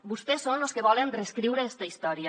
vostès són los que volen reescriure esta història